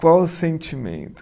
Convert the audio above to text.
Qual o sentimento?